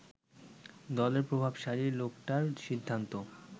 দলের প্রভাবশালী লোকটার সিদ্ধান্ত